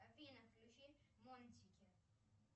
афина включи мультики